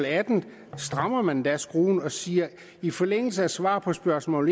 atten strammer man endda skruen og siger i forlængelse af svar på spørgsmål